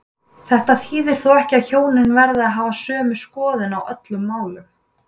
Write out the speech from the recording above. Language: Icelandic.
Þetta þýðir þó ekki að hjónin verði að hafa sömu skoðun á öllum málum.